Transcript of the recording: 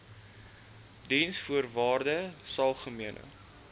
diensvoorwaardesalgemene